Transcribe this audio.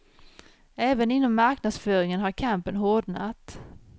Även inom marknadsföringen har kampen hårdnat.